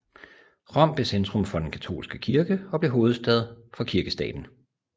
Rom blev centrum for den katolske kirke og blev hovedstad for Kirkestaten